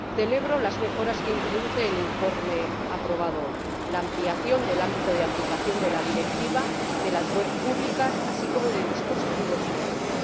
Celebro las mejoras que introduce el informe aprobado hoy la ampliación del ámbito de aplicación de la Directiva sobre las webs públicas, incluyendo los dispositivos móviles.